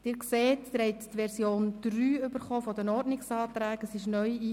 Sie sehen, dass Sie die Version 3 der Ordnungsanträge erhalten haben.